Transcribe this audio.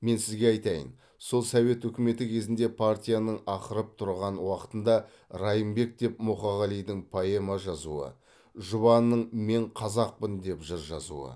мен сізге айтайын сол совет үкіметі кезінде партияның ақырып тұрған уақытында райымбек деп мұқағалидың поэма жазуы жұбанның мен қазақпын деп жыр жазуы